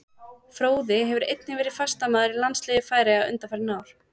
Fróði hefur einnig verið fastamaður í landsliði Færeyja undanfarin ár.